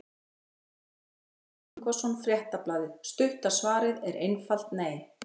Guðmundur Marinó Ingvarsson, Fréttablaðið Stutta svarið er einfalt nei.